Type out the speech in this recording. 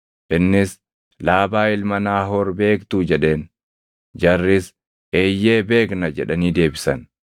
Innis, “Laabaa ilma Naahoor beektuu?” jedheen. Jarris, “Eeyyee, beekna” jedhanii deebisan.